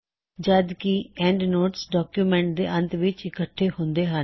ਜਦਕਿ endnotes document ਦੇ ਅੰਤ ਵਿੱਚ ਇਕੱਠੇ ਹੁੰਦੇ ਹੱਨ